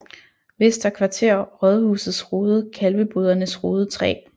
Vester Kvarter Rådhusets Rode Kalvebodernes Rode 3